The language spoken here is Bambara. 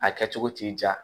A kɛ cogo t'i diya